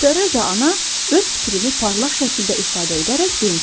Tereza Ana öz fikrini parlaq şəkildə ifadə edərək demişdi: